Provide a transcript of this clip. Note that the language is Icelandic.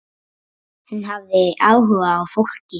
Hún hafði áhuga á fólki.